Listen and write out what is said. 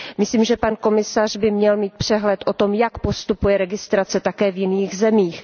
Myslím, že pan komisař by měl mít přehled o tom, jak postupuje registrace také v jiných zemích.